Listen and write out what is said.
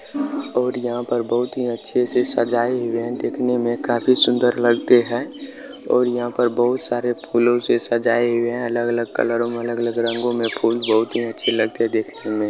और यहाँ पर बहुत ही अच्छे से सजाए हुए हैं दिखने में काफी सुंदर लगते हैं और यहाँ पर बहुत सारे फूलों से सजाए हुए हैं अलग अलग कलरों में अलग अलग रंगो में फूल बहुत अच्छे लगते हैं देखने में।